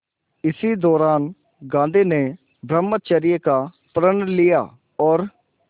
इसी दौरान गांधी ने ब्रह्मचर्य का प्रण लिया और